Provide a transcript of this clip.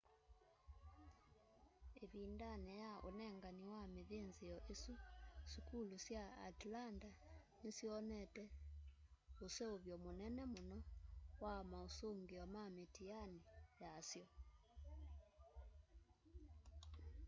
ivindani ya unengani wa mithinthio isu sukulu sya atlanta nisyonete useuvyo munene muno wa mausungio ma mitiani yasyo